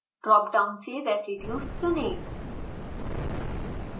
drop down से residues चुनें